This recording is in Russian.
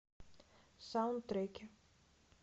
саундтреки